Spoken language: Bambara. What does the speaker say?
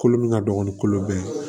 Kolo min ka dɔgɔ ni kolo bɛɛ ye